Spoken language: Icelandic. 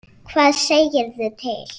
Hvað segirðu til?